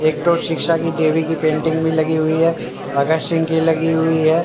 एक तो शिक्षा की देवी की पेंटिंग भी लगी हुई है भगत सिंह की लगी हुई है।